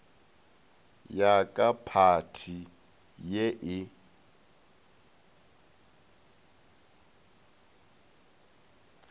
ya ka phathi ye e